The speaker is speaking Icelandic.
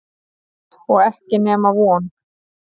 Og ekki nema von.